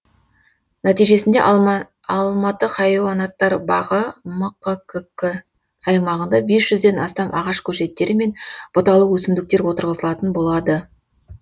нәтижесінде алматы хайуанаттар бағы мқкк аймағында бес жүзден астам ағаш көшеттері мен бұталы өсімдіктер отырғызылатын болады